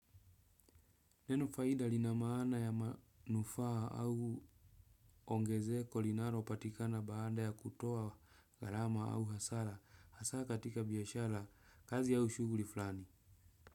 Neno faida lina maana ya manufaa au ongezeko linalopatikana baada ya kutoa gharama au hasara. Hasa katika biashara, kazi au shughuli fulani.